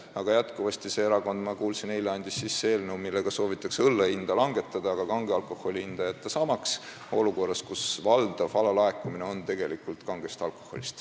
Aga see erakond, ma kuulsin eile, andis sisse eelnõu, millega soovitakse õlle hinda langetada, aga kange alkoholi hind jätta samaks, seda olukorras, kus valdav alalaekumine on tegelikult tekkinud kange alkoholi tõttu.